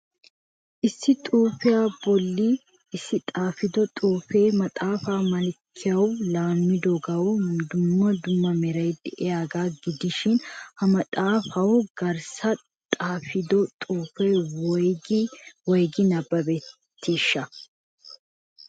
Issi xuufiya bolli issi xaafido xuufiya maxaafa malkkiyawu laammidogawu dummatiya meray de'iyaaga gidishin ha maxaafayo garssa xaafetida xuufe woyggi woyggi nabbabetisha?